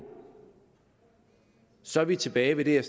så er vi tilbage ved det jeg